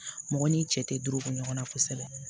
Mɔgɔ n'i cɛ tɛ dɔrɔko ɲɔgɔn na kosɛbɛ